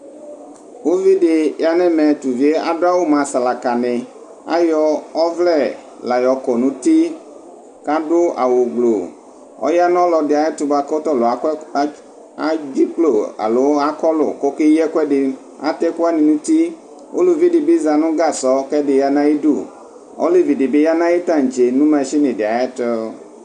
Ʋvidi yanʋ ɛmɛ tʋ ʋvi yɛ adʋ awʋ mʋ asalaka ni ayɔ ɔvlɛ layɔkɔ nʋ uti kʋ adʋ awʋgblu kʋ ɔyanʋ ɔlɔdi ayʋ ɛtʋ bʋakʋ tɔlʋ akɔlʋ kʋ ekeyi ɛkʋɛdi atɛ ɛkʋwani nʋ uti ʋlʋvi dibi zanʋ gasʋ kʋ ɛdi yanʋ ayʋ idʋ olevi dibi yanʋ ayʋ tantse nʋ mashini ayʋ ɛtʋ